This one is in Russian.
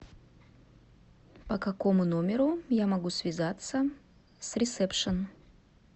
по какому номеру я могу связаться с ресепшн